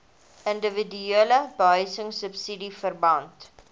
indiwiduele behuisingsubsidies verband